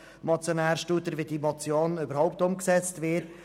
Es ist ja überhaupt erstaunlich, wie die Motion umgesetzt wird.